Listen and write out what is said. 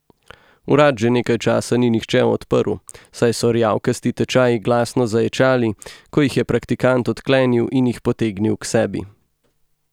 Vrat že nekaj časa ni nihče odprl, saj so rjavkasti tečaji glasno zaječali, ko jih je praktikant odklenil in jih potegnil k sebi.